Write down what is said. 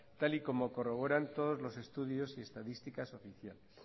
tal y como corroboran todos los estudios y estadísticas oficiales